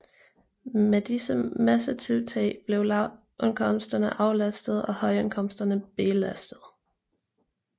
Med disse massetiltag blev lavindkomsterne aflastede og højindkomsterne belastede